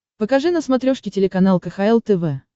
покажи на смотрешке телеканал кхл тв